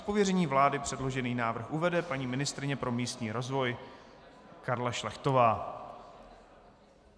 Z pověření vlády předložený návrh uvede paní ministryně pro místní rozvoj Karla Šlechtová.